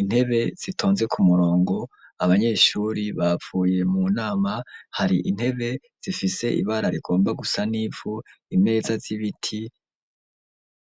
intebe zitonze ku murongo abanyeshuri bavuye mu nama, hari intebe zifise ibara rigomba gusa n'ivu imeza z'ibiti.